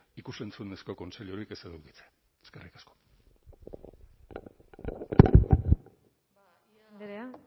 ikus entzunezko kontseilurik ez edukitzea eskerrik asko agirre andrea